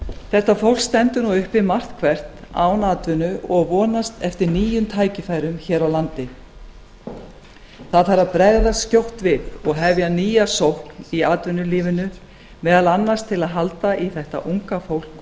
þetta fólk stendur nú uppi margt hvert án atvinnu og vonast eftir nýjum tækifærum hér á landi það þarf að bregðast skjótt við og hefja nýja sókn í atvinnulífinu meðal annars til að halda í þetta unga fólk